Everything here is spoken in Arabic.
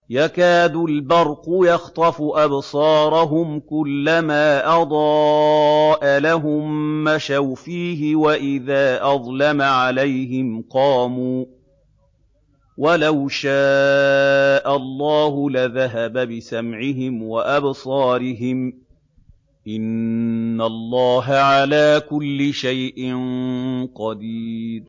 يَكَادُ الْبَرْقُ يَخْطَفُ أَبْصَارَهُمْ ۖ كُلَّمَا أَضَاءَ لَهُم مَّشَوْا فِيهِ وَإِذَا أَظْلَمَ عَلَيْهِمْ قَامُوا ۚ وَلَوْ شَاءَ اللَّهُ لَذَهَبَ بِسَمْعِهِمْ وَأَبْصَارِهِمْ ۚ إِنَّ اللَّهَ عَلَىٰ كُلِّ شَيْءٍ قَدِيرٌ